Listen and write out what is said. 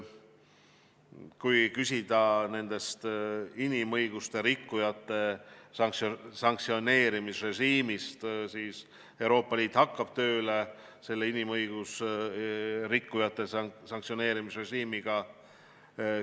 Kui rääkida inimõiguste rikkujate sanktsioneerimisrežiimist, siis Euroopa Liit hakkab inimõiguste rikkujate sanktsioneerimisrežiimiga tööle.